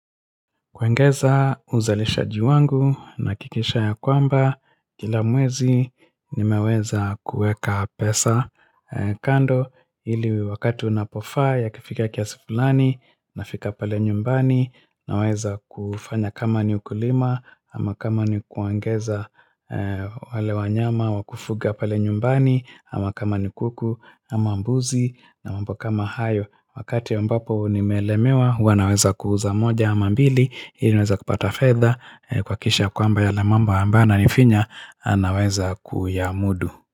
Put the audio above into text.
Kuongeza uzalishaji wangu nahakikisha ya kwamba kila mwezi nimeweza kueka pesa kando ili wakati unapofaa yakifika kiasi fulani nafika pale nyumbani na weza kufanya kama ni ukulima ama kama ni kuongeza wale wanyama wa kufuga pale nyumbani ama kama ni kuku ama mbuzi na mambo kama hayo Wakati ambapo nimelemewa Huwa naweza kuuza moja ama mbili ili niweze kupata fedha kuhakikisha kwamba yale mambo ambayo yananifinya naweza kuyamudu.